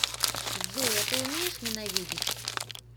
джой а ты умеешь ненавидеть